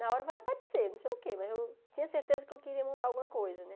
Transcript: Na hora vai aparecer, não sei o quê, mas eu tinha certeza que eu queria montar alguma coisa, né?